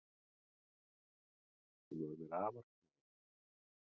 Hún var mér afar kær.